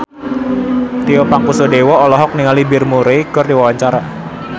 Tio Pakusadewo olohok ningali Bill Murray keur diwawancara